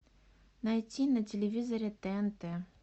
найти на телевизоре тнт